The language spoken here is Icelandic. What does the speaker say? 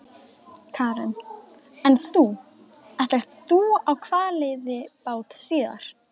Karen: En þú, ætlar þú á hvalveiðibát síðar?